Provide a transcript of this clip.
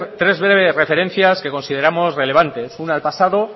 tres breves referencias que consideramos relevantes una al pasado